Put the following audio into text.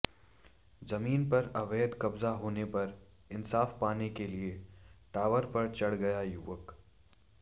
जमीन पर अवैध कब्जा होने पर इंसाफ पाने के लिए टावर पर चढ़ गया युवक